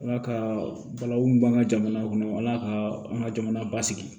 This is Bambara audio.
Ala ka bala mun b'an ka jamana kɔnɔ ala ka an ka jamana basigi